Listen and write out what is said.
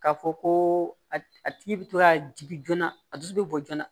K'a fɔ ko a tigi bɛ to ka jigin joona a dusu bɛ bɔ joona